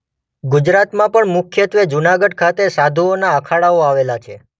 ગુજરાતમાં પણ મુખ્યત્વે જૂનાગઢ ખાતે સાધુઓના અખાડાઓ આવેલા છે.